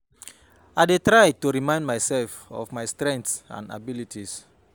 i dey try to remind myself of my strengths and abilities.